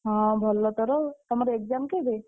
ହଁ ଭଲ ତୋର ଆଉ ତମର exam କେବେ?